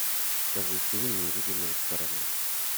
покажи фильм невидимая сторона